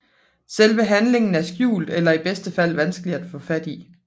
Selve handlingen er skjult eller i bedste fald vanskelig at få fat i